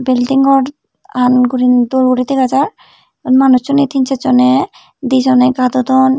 building ghoran dol guri dega jar iyot manuchune tin ser Jone di Jone gadodon.